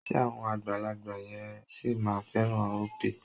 Ṣé àwọn àgbàlagbà yẹn sì máa fẹ́ràn Opay?